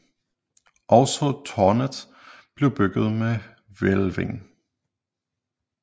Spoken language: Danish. Også târnet blev bygget med hvælving